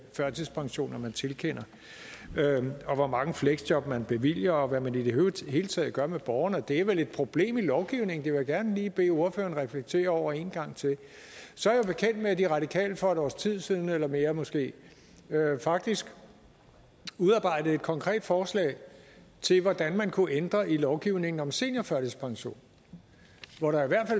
førtidspensioner man tilkender og hvor mange fleksjob man bevilger og hvad man i det hele taget gør med borgerne det er vel et problem i lovgivningen det vil jeg gerne lige bede ordføreren reflektere over en gang til så er jeg bekendt med at de radikale for et års tid siden eller mere måske faktisk udarbejdede et konkret forslag til hvordan man kunne ændre i lovgivningen om seniorførtidspension og der